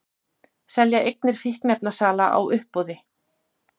Selja eignir fíkniefnasala á uppboði